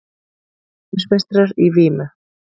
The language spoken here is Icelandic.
Heimsmeistarar í vímu